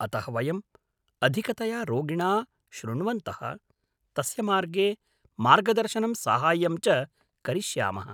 अतः वयं अधिकतया रोगिणा शृण्वन्तः, तस्य मार्गे मार्गदर्शनं साहाय्यं च करिष्यामः।